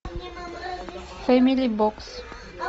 фэмили бокс